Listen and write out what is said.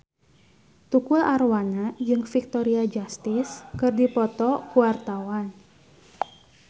Tukul Arwana jeung Victoria Justice keur dipoto ku wartawan